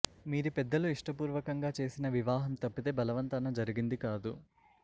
మీది పెద్దలు ఇష్టపూర్వకంగా చేసిన వివాహం తప్పితే బలవంతాన జరిగింది కాదు